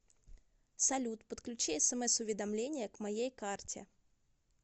салют подключи смс уведомление к моей карте